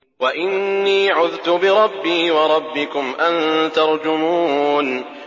وَإِنِّي عُذْتُ بِرَبِّي وَرَبِّكُمْ أَن تَرْجُمُونِ